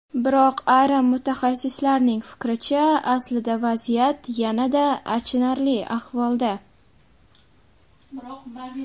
Biroq ayrim mutaxassislarning fikricha, aslida vaziyat yanada achinarli ahvolda.